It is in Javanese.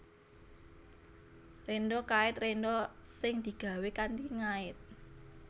Rénda kait rénda sing digawé kanthi ngait